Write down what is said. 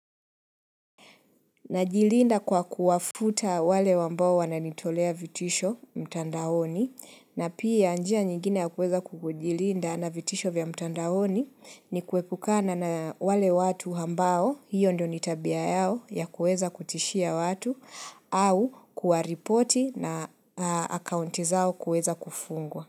Najilinda kwa kuwafuta wale wambao wananitolea vitisho mtandaoni na pia njia nyingine ya kuweza kukujilinda na vitisho vya mtandaoni ni kuwepukana na wale watu ambao hiyo ndio nitabia yao ya kuweza kutishia watu au kuwa ripoti na akaunti zao kuweza kufungwa.